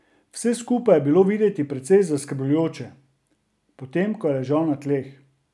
Vse skupaj je bilo videti precej zaskrbljujoče, potem ko je ležal na tleh.